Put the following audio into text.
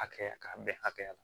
Hakɛya k'a bɛn hakɛya la